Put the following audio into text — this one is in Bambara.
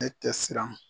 Ne tɛ siran